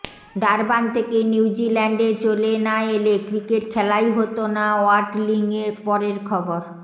Durban থেকে নিউজিল্যান্ডে চলে না এলে ক্রিকেট খেলাই হত না ওয়াটলিংয়ের পরের খবর